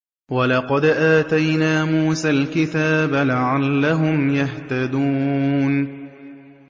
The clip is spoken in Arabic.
وَلَقَدْ آتَيْنَا مُوسَى الْكِتَابَ لَعَلَّهُمْ يَهْتَدُونَ